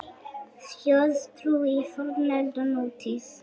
Þjóðtrú í fornöld og nútíð